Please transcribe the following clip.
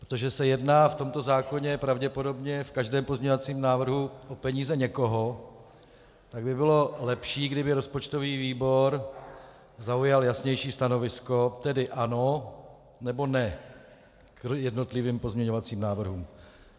Protože se jedná v tomto zákoně pravděpodobně v každém pozměňovacím návrhu o peníze někoho, tak by bylo lepší, kdyby rozpočtový výbor zaujal jasnější stanovisko, tedy ano, nebo ne k jednotlivým pozměňovacím návrhům.